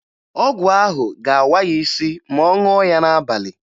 Ọgwụ ahụ ga-awa ya isi ma ọ ṅụọ ya n'abalị